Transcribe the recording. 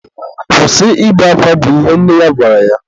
Kwụsị ibe akwa! bụ ihe nne ya gwara ya.